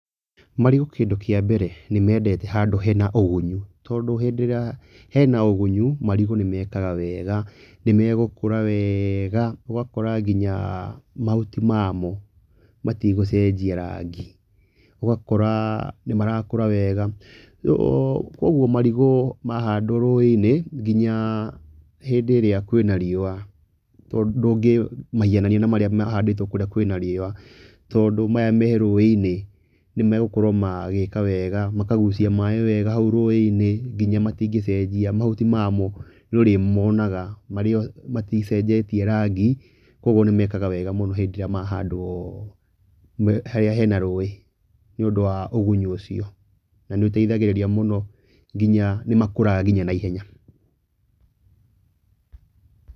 Marigũ kĩndũ kĩa mbere, nĩmendete handũ hena ũgunyu tondũ hĩndĩ ĩrĩa hena ũgunyu, marigũ nĩmekaga wega, nĩmegũkũra wega ũgakora nginya mahuti mamo metigũcenjia rangi , ũgakora nĩmarakũra wega kuogu marigũ mahandwo rũĩ-inĩ nginya hĩndĩ ĩrĩa kwĩna riũa ndũngĩmaiganani na marĩa mahandĩtwo kũrĩa kwĩna riũa tondũ maya me rũĩ-inĩ nĩmegũkorwo magĩka wega makagucia maĩ wega haũ rũĩ-inĩ nginya matingĩcenjia mahuti mamo nĩũrĩmonaga maticenjetie rangi. Kĩoguo nĩmekaga wega mũno hĩndĩ ĩrĩa mahandwo harĩa hena rũĩ nĩũndũ wa ũgunyu ũcio na nĩũteithagĩrĩragia mũno nginya nĩmakũraga nginya na ihenya.